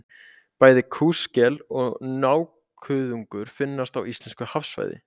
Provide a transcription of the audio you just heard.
Bæði kúskel og nákuðungur finnast á íslensku hafsvæði.